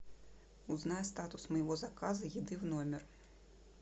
узнай статус моего заказа еды в номер